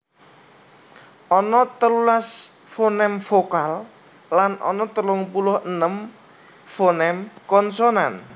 Ana telulas foném vokal lan ana telung puluh enem foném konsonan